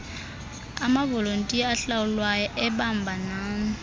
amavolontiya ahlawulwayo ebambanani